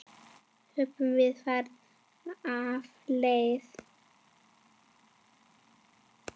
Höfum við farið af leið?